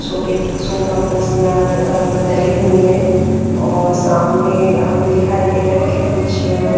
सोफे सोफा कुर्सियां अ अ डली हुई है और सामने हमें दिखाई दे रहा है कि कुछ--